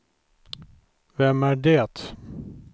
vem är det